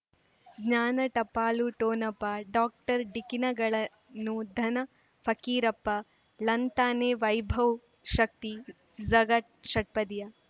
ಜ್ಞಾನ ಟಪಾಲು ಠೊಣಪ ಡಾಕ್ಟರ್ ಢಿಕ್ಕಿ ನಗಳನು ಧನ ಫಕೀರಪ್ಪ ಳಂತಾನೆ ವೈಭವ್ ಶಕ್ತಿ ಝಗಾ ಷಟ್ಪದಿಯ